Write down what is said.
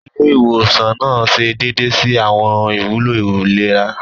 Ilé ìwòsan nàá ṣe déédé si awọn ìwúlò ìlera.